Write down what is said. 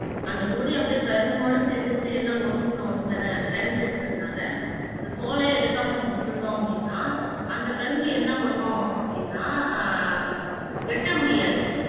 அந்தக் கொடி அப்படியே கரும்போட சேர்ந்து கிட்டே எல்லாம் ஒன்னுக்குள்ள ஒண்ணு பேண பிணைஞ்சு இருக்கனால அந்த சோலைய எடுக்காம விட்டிருந்தோம் அப்படின்னா அந்த கரும்பு என்ன பண்ணும் அப்படின்னா ஆஹ் வெட்ட முடியாது